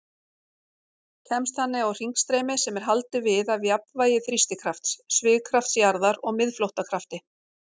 Kemst þannig á hringstreymi sem er haldið við af jafnvægi þrýstikrafts, svigkrafts jarðar og miðflóttakrafti.